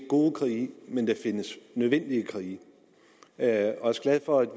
gode krige men der findes nødvendige krige jeg er også glad for at